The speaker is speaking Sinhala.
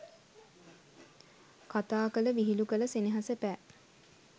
කතා කළ විහිළු කළ සෙනෙහස පෑ